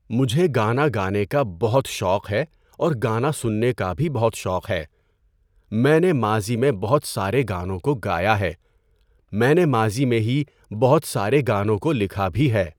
مجھے گانا گانے کا بہت شوق ہے اور گانا سننے کا بھی بہت شوق ہے۔ میں نے ماضی میں بہت سارے گانوں کو گایا ہے۔ میں نے ماضی میں ہی بہت سارے گانوں کو لکھا بھی ہے۔